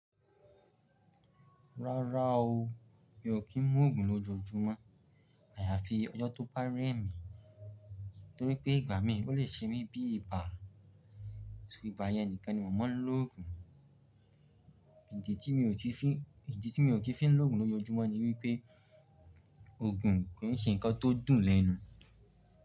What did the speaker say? Rárá o, mi ò kí ń mu òògùn lójoojúmọ́ àyàfi ọjọ́ tó bá rẹ̀ mí, torí pé ìgbà mí ò lè ṣe mí bí ibà. Iba yẹn nìkan ni mò mọ ń lo òògùn. Ìdí tí mi ò kin fi ń lo òògùn lójoojúmọ́ ni wípé òògùn kò ń ṣe ǹkan tó dùn lẹ́nu.